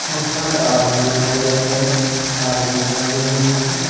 बहुत सारे आदमी दिखाई दे रहे हैं कारें दिखाई दे रही हैं।